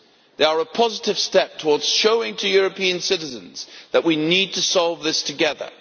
They are a positive step towards showing European citizens that we need to solve this together.